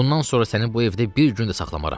Bundan sonra səni bu evdə bir gün də saxmaram.